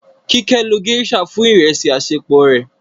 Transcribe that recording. Kíké ló geisha fún ìrẹsì àṣẹpò rẹ.